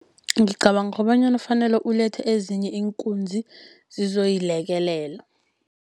Ngicabanga kobanyana fanele ulethe ezinye iinkunzi zizoyilekelela.